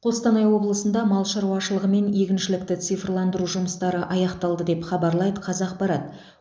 қостанай облысында мал шаруашылығы мен егіншілікті цифрландыру жұмыстары аяқталды деп хабарлайды қазақпарат